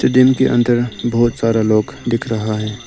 Tin के अंदर बहुत सारा लोग दिख रहा है।